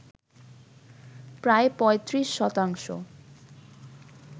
প্রায় ৩৫ শতাংশ।